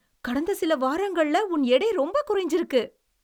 கடந்த சில வாரங்கள்ல உன் எடை ரொம்ப குறைஞ்சுருக்கு!